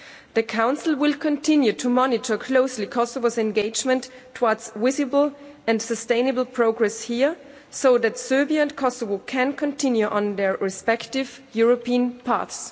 The Council will continue to monitor closely Kosovo's engagement towards visible and sustainable progress here so that Serbia and Kosovo can continue on their respective European paths.